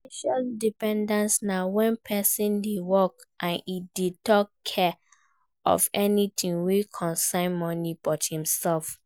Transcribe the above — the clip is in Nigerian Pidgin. Financial independence na when persin de work and e de talk care of anything wey concern money by himself